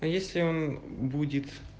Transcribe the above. если он будет